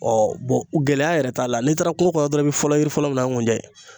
gɛlɛya yɛrɛ t'a la n'i taara kungo kɔnɔ dɔrɔn i bɛ fɔlɔ yiri fɔlɔ min na o ye nkunjɛ ye